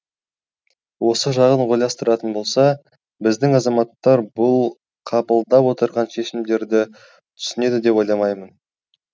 осы жағын ойластыратын болса біздің азаматтар бұл қабылдап отырған шешімдерді түсінеді деп ойламаймын